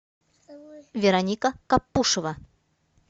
вероника капушева